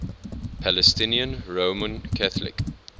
palestinian roman catholic